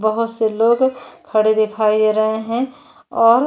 बहुत से लोग खड़े दिखाए रहे हैं और --